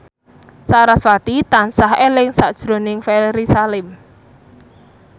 sarasvati tansah eling sakjroning Ferry Salim